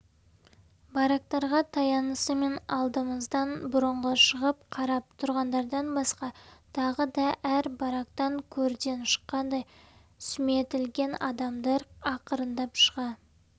барактарға таянысымен алдымыздан бұрынғы шығып қарап тұрғандардан басқа тағы да әр барактан көрден шыққандай сүметілген адамдар ақырындап шыға